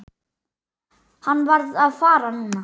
Hann varð að fara núna.